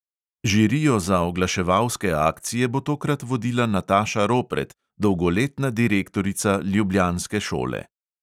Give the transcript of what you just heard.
Žirijo za oglaševalske akcije bo tokrat vodila nataša ropret, dolgoletna direktorica ljubljanske šole.